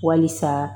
Walisa